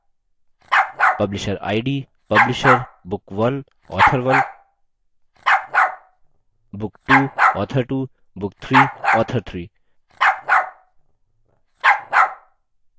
publisher id publisher book1 author 1 book 2 author 2 book 3 author 3